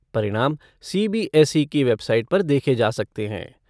परिणाम सीबीएसई की वेबसाइट पर देखे जा सकते हैं।